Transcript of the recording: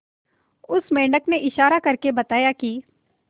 उस मेंढक ने इशारा करके बताया की